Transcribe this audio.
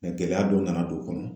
Mɛ gɛlɛya dɔ nana don o kɔnɔ